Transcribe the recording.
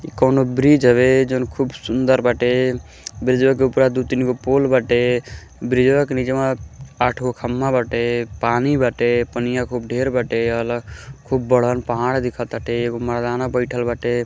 इ कउनो ब्रिज हवे। जॉन खूब सूंदर बाटे। ब्रिजवा के उपरा दू तीन गो पोल बाटे। ब्रिजवा के निचवा आठ जो खम्भा बाटे। पानी बाटे पनिया खूब ढेर बाटे खूब बड़हन पहाड़ दीखताटे एगो मरदाना बइठल बाटे।